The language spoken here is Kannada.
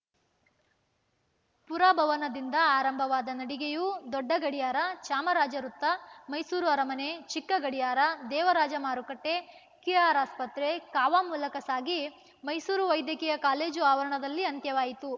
ಪುರಭವನದಿಂದ ಆರಂಭವಾದ ನಡಿಗೆಯು ದೊಡ್ಡಗಡಿಯಾರ ಚಾಮರಾಜ ವೃತ್ತ ಮೈಸೂರು ಅರಮನೆ ಚಿಕ್ಕಗಡಿಯಾರ ದೇವರಾಜ ಮಾರುಕಟ್ಟೆ ಕೆಆರ್‌ಆಸ್ಪತ್ರೆ ಕಾವಾ ಮೂಲಕ ಸಾಗಿ ಮೈಸೂರು ವೈದ್ಯಕೀಯ ಕಾಲೇಜು ಆವರಣದಲ್ಲಿ ಅಂತ್ಯವಾಯಿತು